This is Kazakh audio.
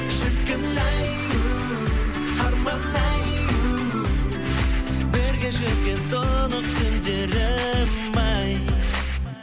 шіркін ай у арман ай у бірге жүзген тұнық көлдерім ай